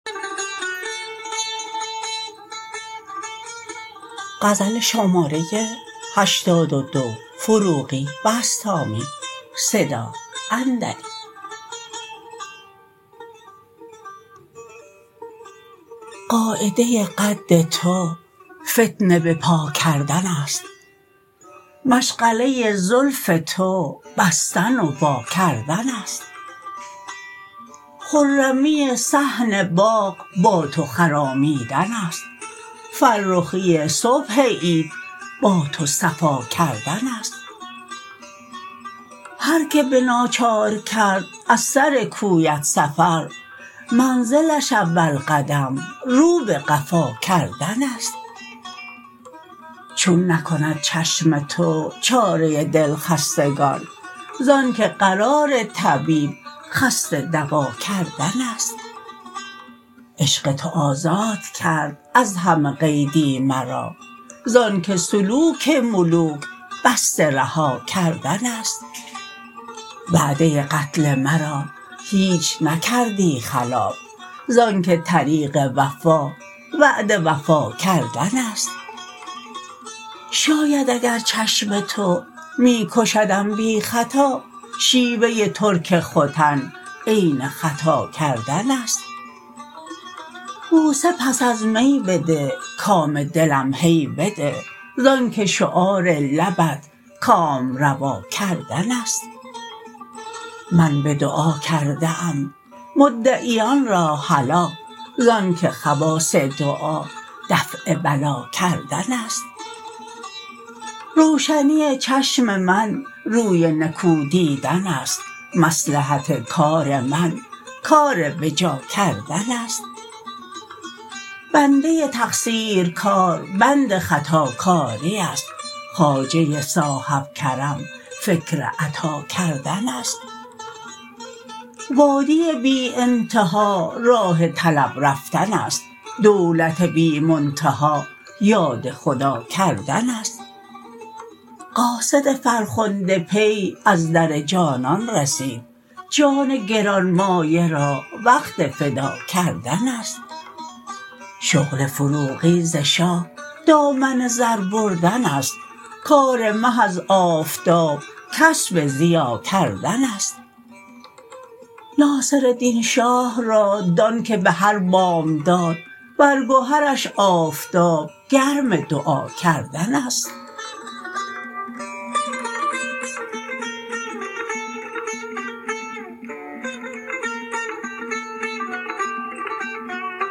قاعده قد تو فتنه به پا کردن است مشغله زلف تو بستن و واکردن است خرمی صحن باغ با تو خرامیدن است فرخی صبح عید با تو صفا کردن است هر که به ناچار کرد از سر کویت سفر منزلش اول قدم رو به قفا کردن است چون نکند چشم تو چاره دلخستگان زان که قرار طبیب خسته دوا کردن است عشق تو آزاد کرد از همه قیدی مرا زان که سلوک ملوک بسته رها کردن است وعده قتل مرا هیچ نکردی خلاف زان که طریق وفا وعده وفا کردن است شاید اگر چشم تو می کشدم بی خطا شیوه ترک ختن عین خطا کردن است بوسه پس از می بده کام دلم هی بده زان که شعار لبت کامروا کردن است من به دعا کرده ام مدعیان را هلاک زان که خواص دعا دفع بلا کردن است روشنی چشم من روی نکو دیدن است مصلحت کار من کار به جا کردن است بنده تقصیرکار بند خطاکاری است خواجه صاحب کرم فکر عطا کردن است وادی بی انتها راه طلب رفتن است دولت بی منتها یاد خدا کردن است قاصد فرخنده پی از در جانان رسید جان گران مایه را وقت فدا کردن است شغل فروغی ز شاه دامن زر بردن است کار مه از آفتاب کسب ضیا کردن است ناصردین شاه را دان که به هر بامداد بر گهرش آفتاب گرم دعا کردن است